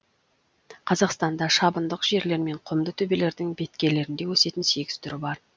қазақстанда шабындық жерлер мен құмды төбелердің беткейлерінде өсетін сегіз түрі бар